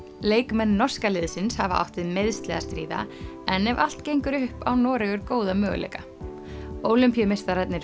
leikmenn norska liðsins hafa átt við meiðsli að stríða en ef allt gengur upp á Noregur góða möguleika